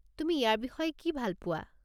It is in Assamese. তুমি ইয়াৰ বিষয়ে কি ভাল পোৱা?